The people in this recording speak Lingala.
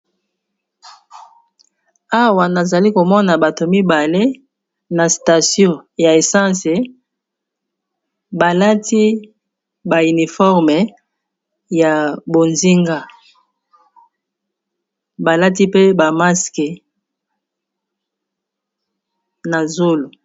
Awa nazali komona bato mibale na station ya essence balati ba uniforme ya bozinga, balati pe ba masque na zolo.